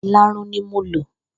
Ìlarun ni mo lò.